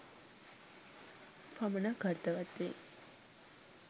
පමණක් අර්ථවත් වෙයි